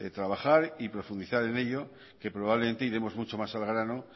trabajar y profundizar en ello que probablemente iremos mucho más al grano